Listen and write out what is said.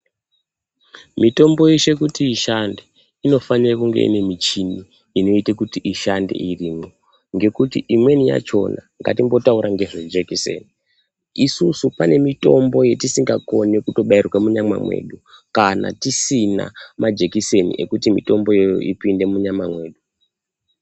Mitombo yeshe kuti ishande inofanae kunge inemichini ishande irimwongekuti imweni yachona ngatimbotaura ngezvejekiseni isisu panemitombo yatisingakoni kutobairwa munyama medu kana tisina majikiseni ekuti mitombo iyoyo ipinde munyama mwedu.